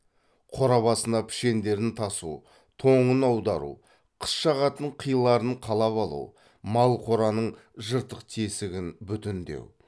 қора басына пішендерін тасу тоңын аудару қыс жағатын қиларын қалап алу мал қораның жыртық тесігін бүтіндеу